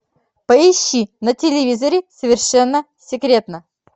поищи на телевизоре совершенно секретно